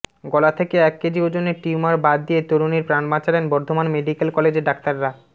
গলা থেকে এক কেজি ওজনের টিউমার বাদ দিয়ে তরুণীর প্রাণ বাঁচালেন বর্ধমান মেডিক্যাল কলেজের ডাক্তাররা